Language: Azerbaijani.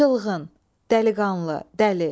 Çılğın, dəliqanlı, dəli.